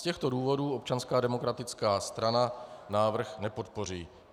Z těchto důvodů Občanská demokratická strana návrh nepodpoří.